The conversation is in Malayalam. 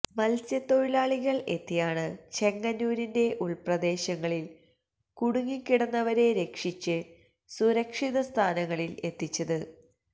മത്സ്യത്തൊഴിലാളികൾ എത്തിയാണ് ചെങ്ങന്നൂരിന്റെ ഉൾപ്രദേശങ്ങളിൽ കുടുങ്ങിക്കിടന്നവരെ രക്ഷിച്ച് സുരക്ഷിത സ്ഥാനങ്ങളിൽ എത്തിച്ചത്